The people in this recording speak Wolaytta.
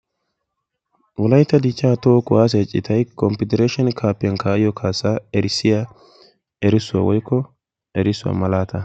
wolaytta dichcha toho kuwaasiya citay confidireshen kafiyan kaa'iyo kaassaa erissiya erissuwa woykko erissuwa malaataa.